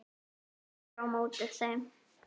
Ég er á móti þeim.